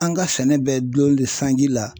An ka sɛnɛ bɛ dulon de sanji la